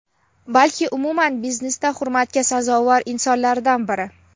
balki umuman biznesda hurmatga sazovor insonlardan biri.